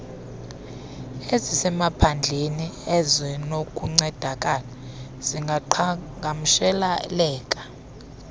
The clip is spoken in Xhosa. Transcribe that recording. ezisemaphandleni ezinokuncedakala zingaqhagamsheleka